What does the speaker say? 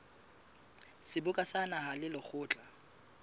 seboka sa naha le lekgotla